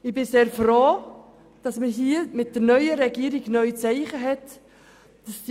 Ich bin sehr froh, dass wir hier mit der neuen Regierung neue Zeichen erhalten haben.